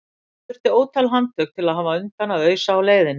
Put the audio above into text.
En það þurfti ótal handtök til að hafa undan að ausa á leiðinni.